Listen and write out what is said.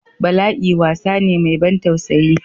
Bala'i wasa ne mai ban tausayi.